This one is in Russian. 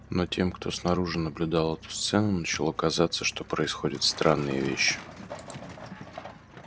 но тем кто снаружи наблюдал эту сцену начало казаться что происходят странные вещи